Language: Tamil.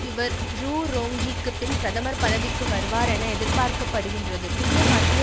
இவர் ழு ரோங்ஜிக்கு பின் பிரதமர் பதவிக்கு வருவார் என எதிர்பார்க்க படுகின்றது புதிய மத்திய